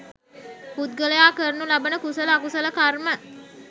පුද්ගලයා කරනු ලබන කුසල අකුසල කර්ම